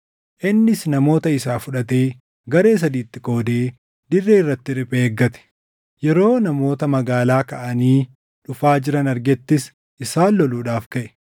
Innis namoota isaa fudhatee garee sadiitti qoodee dirree irratti riphee eeggate. Yeroo namoota magaalaa kaʼanii dhufaa jiran argettis isaan loluudhaaf kaʼe.